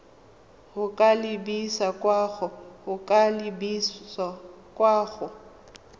go ka lebisa kwa go